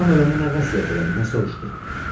Atam öləndə nə vəsiyyət elədi, nə soruşdu?